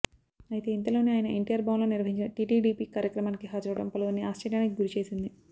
అయితే ఇంతలోనే ఆయన ఎన్టీఆర్ భవన్ లో నిర్వహించిన టీటీడీపీ కార్యక్రమానికి హాజరవడం పలువురిని ఆశ్చర్యానికి గురిచేసింది